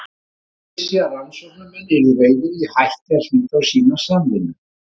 Ég vissi að rannsóknarmenn yrðu reiðir ef ég hætti að hlýða og sýna samvinnu.